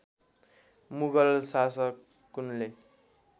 Mughal शासकुन्ले